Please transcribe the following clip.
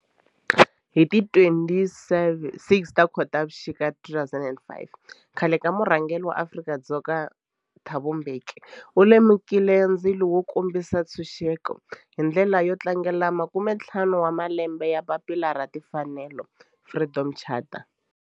Hi ti 26 Khotavuxika 2005 khale ka murhangeri wa Afrika-Dzonga Thabo Mbeki u lumekile ndzilo wo kombisa ntshuxeko, hi ndlela yo tlangela makumentlhanu wa malembe ya papila ra timfanelo, Freedom Charter.